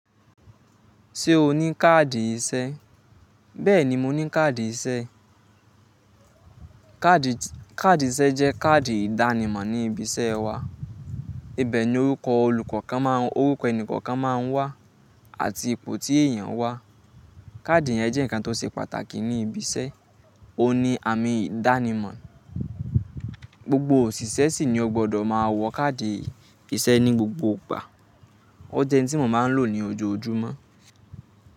Ṣé o ní káàdì iṣẹ́? Bẹ́ẹ̀ni mo ní káàdì iṣẹ́. Káàdì iṣẹ́ jẹ́ káàdì ìdánimọ̀ ní ibi iṣẹ́ wa. Ibẹ̀ ni orúkọ ẹni olukokan, oruko eni kọ̀ọ̀kan máa ń wà àti ipò tí èèyàn wà. Káàdì yẹn jẹ́ nǹkan tó ṣe pàtàkì ní ibi iṣẹ́, ó ní àmì ìdánimọ̀. Gbogbo òṣìṣẹ́ sì ni ó gbọdọ̀ máa wọ káàdì iṣẹ́ ní gbogbo ìgbà. Ó jẹ́ n tí mo máa ń lò ní ojoojúmọ́.